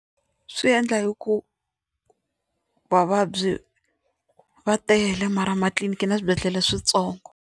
Swi endla hi ku vavabyi va tele mara matliliniki na swibedhlele swintsongo.